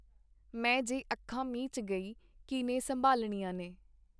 ਮੈਂ ਜੇ ਅੱਖਾਂ ਮੀਚ ਗਈ ਕੀਹਨੇ ਸੰਭਾਲਣੀਆਂ ਨੇ.